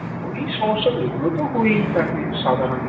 ওই সমস্যা এগুলো তো হয়েই থাকে সাধারণ